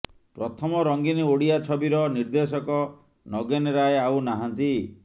ପ୍ରଥମ ରଙ୍ଗିନ ଓଡ଼ିଆ ଛବିର ନିର୍ଦ୍ଦେଶକ ନଗେନ୍ ରାୟ ଆଉ ନାହାନ୍ତି